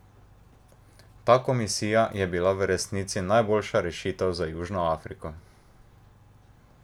Ta komisija je bila v resnici najboljša rešitev za Južno Afriko?